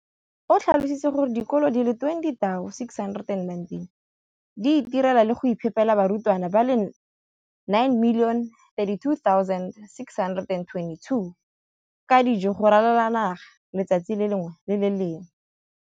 o tlhalositse gore dikolo di le 20 619 di itirela le go iphepela barutwana ba le 9 032 622 ka dijo go ralala naga letsatsi le lengwe le le lengwe.